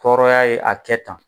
Tɔrɔya ye a kɛ tan.